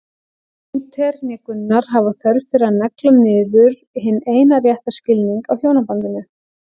Lúther né Gunnar hafa þörf fyrir að negla niður hinn eina rétta skilning á hjónabandinu.